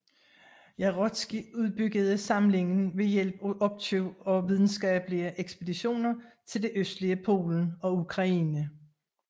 Jarocki udbyggede samlingen ved hjælp af opkøb og videnskabelige ekspeditioner til det østlige Polen og Ukraine